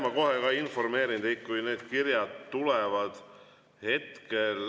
Ma kohe informeerin teid, kui need kirjad tulevad.